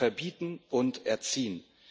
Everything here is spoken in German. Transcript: Sie wollen verbieten und erziehen.